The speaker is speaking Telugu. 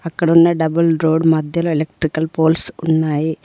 ఇక్కడున్న డబుల్ రోడ్ మధ్యలో ఎలక్ట్రికల్ పోల్స్ ఉన్నాయి